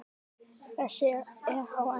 Þessi er á enda.